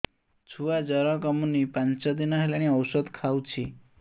ଛୁଆ ଜର କମୁନି ପାଞ୍ଚ ଦିନ ହେଲାଣି ଔଷଧ ଖାଉଛି